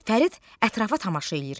Fərid ətrafa tamaşa eləyir.